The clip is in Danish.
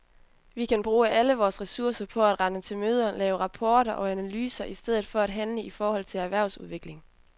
Vi kan bruge alle vores ressourcer på at rende til møder, lave rapporter og analyser i stedet for at handle i forhold til erhvervsudvikling.